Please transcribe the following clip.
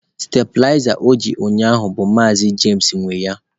Stabilizer o ji ụnyaahụ bụ maazi james nwe ya